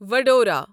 Vadodara